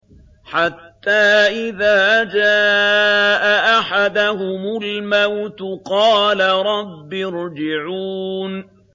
حَتَّىٰ إِذَا جَاءَ أَحَدَهُمُ الْمَوْتُ قَالَ رَبِّ ارْجِعُونِ